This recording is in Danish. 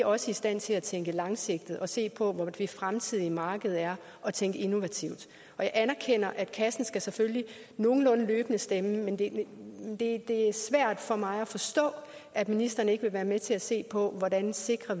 også i stand til at tænke langsigtet og se på hvor det fremtidige marked er og tænke innovativt jeg anerkender at kassen selvfølgelig nogenlunde løbende skal stemme men det det er svært for mig at forstå at ministeren ikke vil være med til at se på hvordan vi sikrer